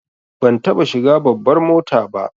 Ban taɓa shiga babbar mota ba